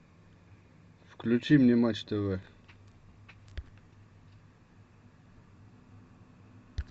включи мне матч тв